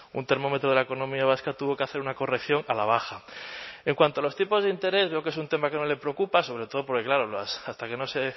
un termómetro de la economía vasca tuvo que hacer una corrección a la baja en cuanto a los tipos de interés veo que es un tema que no le preocupa sobre todo porque claro hasta que no se